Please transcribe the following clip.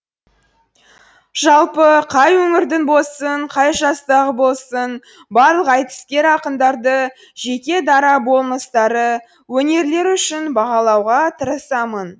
жалпы қай өңірдің болсын қай жастағы болсын барлық айтыскер ақындарды жеке дара болмыстары өнерлері үшін бағалауға тырысамын